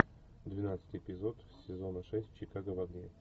двенадцатый эпизод сезона шесть чикаго в огне